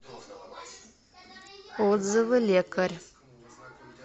отзывы лекарь